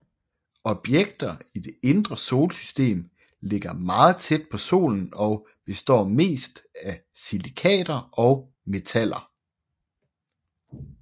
Objekter i det indre solsystem ligger meget tæt på Solen og består mest af silikater og metaller